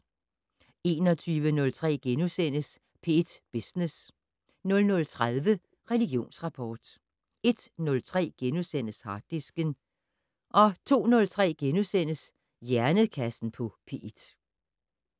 21:03: P1 Business * 00:30: Religionsrapport 01:03: Harddisken * 02:03: Hjernekassen på P1 *